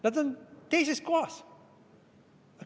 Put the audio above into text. Nad on teises kohas.